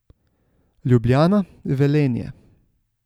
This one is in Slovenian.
Ljubljana, Velenje.